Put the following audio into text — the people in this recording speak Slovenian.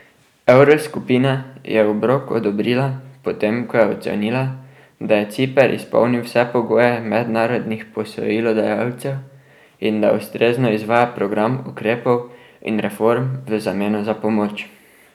Evroskupina je obrok odobrila, potem ko je ocenila, da je Ciper izpolnil vse pogoje mednarodnih posojilodajalcev in da ustrezno izvaja program ukrepov in reform v zameno za pomoč.